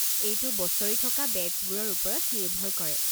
এইটো বছৰি থকা বেট্চবোৰৰ ওপৰত নিৰ্ভৰ কৰে।